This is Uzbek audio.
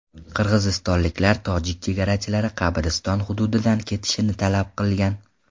Qirg‘izistonliklar tojik chegarachilari qabriston hududidan ketishini talab qilgan.